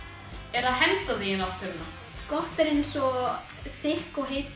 er að henda því í náttúruna gott er eins og þykk og heit